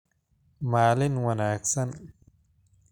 Maalin wanaagsan